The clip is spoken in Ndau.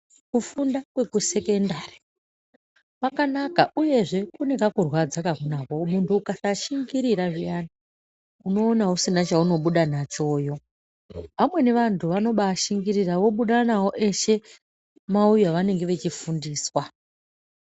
Kufunda kwekusekendari kwakanaka uyezve kune kakurwadza kakunako muntu ukasashingorira zviyani unoona usina chaunobuda nachoyo. Vamweni vantu vanobaashingiririra vobuda nawo eshe mauyu avanenge vechifundiswa.